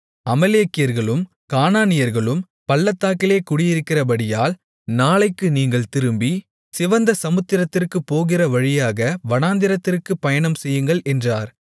அமலேக்கியர்களும் கானானியர்களும் பள்ளத்தாக்கிலே குடியிருக்கிறபடியால் நாளைக்கு நீங்கள் திரும்பி சிவந்த சமுத்திரத்திற்குப்போகிற வழியாக வனாந்திரத்திற்குப் பயணம்செய்யுங்கள் என்றார்